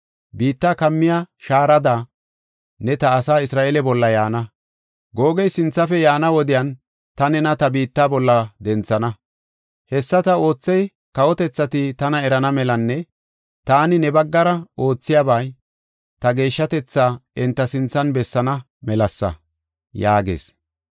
Biitta kammiya shaarada, ne ta asaa Isra7eele bolla yaana. Googe sinthafe yaana wodiyan ta nena ta biitta bolla denthana. Hessa ta oothey kawotethati tana erana melanne taani ne baggara oothiyabay ta geeshshatetha enta sinthan bessaana melasa” yaagees.